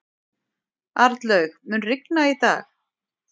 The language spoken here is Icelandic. Arnlaug, mun rigna í dag?